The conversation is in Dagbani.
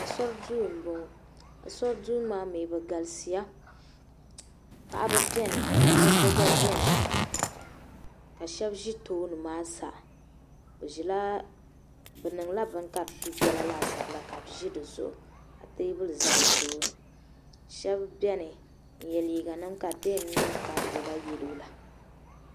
Ashuri duu m-bɔŋɔ Ashuri duu maa mi bɛ galisi paɣaba beni ka dabba gba beni ka shɛba ʒi tooni maa sa bɛ niŋla bini ka di du biɛla laasabu la ka bɛ ʒi di zuɣu ka teebuli za bɛ tooni shɛba beni n-ye liiga nima ka di yɛn niŋ ka di lula yeelo la.